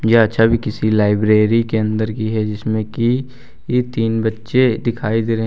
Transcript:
यह छवि किसी लाइब्रेरी के अंदर की है जिसमें कि तीन बच्चे दिखाई दे रहे हैं।